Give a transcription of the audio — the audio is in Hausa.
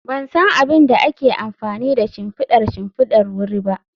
Ban san abin da ake amfani da shimfidar shimfidar wuri ba